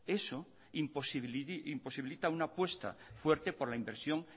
imposibilita una apuesta fuerte por la inversión